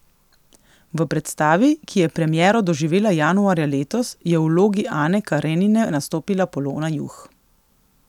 V predstavi, ki je premiero doživela januarja letos, je v vlogi Ane Karenine nastopila Polona Juh.